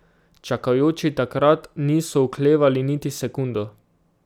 Čakajoči takrat niso oklevali niti sekundo.